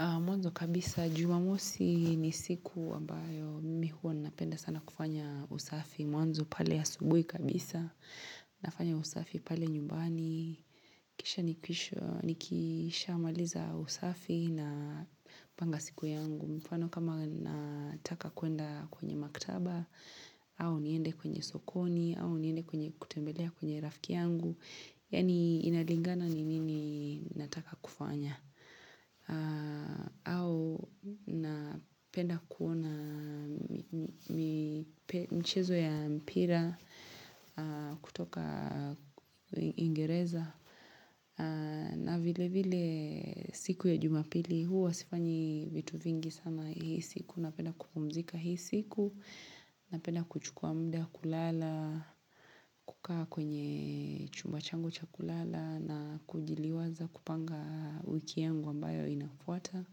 Mwanzo kabisa, Jumamosi ni siku ambayo mimi huwa napenda sana kufanya usafi. Mwanzo pale asubuhi kabisa, nafanya usafi pale nyumbani. Kisha nikishaamaliza usafi napanga siku yangu. Mfano kama nataka kwenda kwenye maktaba, au niende kwenye sokoni, au niende kwenye kutembelea kwenye rafiki yangu. Yaani inalingana ni nini nataka kufanya. Au napenda kuona michezo ya mpira kutoka Uingereza. Na vile vile siku ya Jumapili huwa sifanyi vitu vingi sana hii siku. Napenda kupumzika hii siku. Napenda kuchukua muda kulala, kukaa kwenye chumba changu cha kulala na kujiliwaza kupanga wiki yangu ambayo inafuata.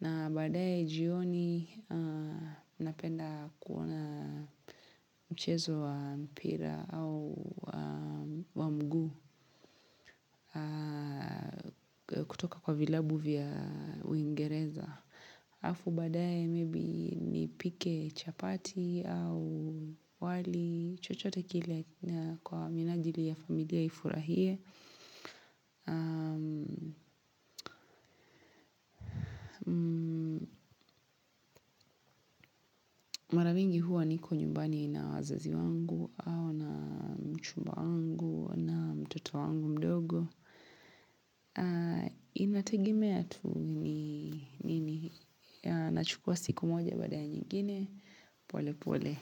Na baadaye jioni napenda kuona mchezo wa mpira au wa mguu. Kutoka kwa vilabu vya uingereza. Halafu baadaye, 'maybe' nipike chapati, au wali chochote kile kwa minajili ya familia ifurahie. Mimi huwa niko nyumbani na wazazi wangu au na mchumba wangu na mtoto wangu mdogo. Inategemea tu ni nini. Nachukua siku moja baada ya nyingine. Pole pole.